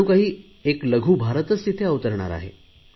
जणू काही एक लघुभारत तिथे अवतरणार आहे